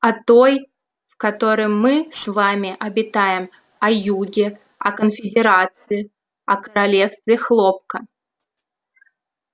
о той в которой мы с вами обитаем о юге о конфедерации о королевстве хлопка